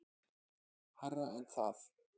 Hærra en það.